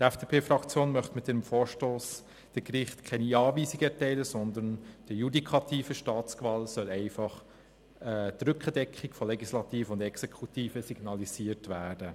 Die FDP-Fraktion möchte mit ihrem Vorstoss den Gerichten keine Anweisung erteilen, vielmehr soll der judikativen Staatsgewalt einfach die Rückendeckung von Legislative und Exekutive signalisiert werden.